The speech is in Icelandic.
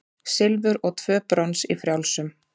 Silfur og tvö brons í frjálsum